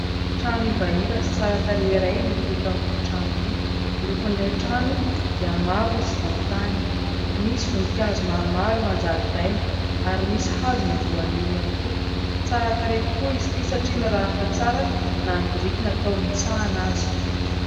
Trano ivaiva sy tsara tarehy iray no hita eto amin'ity trano ity. Ny lokon'ilay trano dia mavo sy volontany. Misy voninkazo maromaro eo an-jaridaina ary misy hazona voanio ihany koa. Tsara tarehy tokoa izy ity satria mirafitra tsara na ny biriky natao ho hitsahina aza.